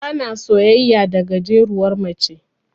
Bana soyayya da gajeruwar mace.